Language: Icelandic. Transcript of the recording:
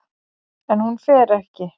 En hún fer ekki.